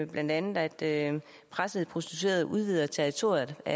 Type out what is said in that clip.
blandt andet at pressede prostituerede udvider territoriet det